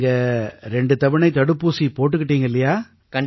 நீங்க 2 தவணை தடுப்பூசி போட்டுக்கிட்டீங்க இல்லையா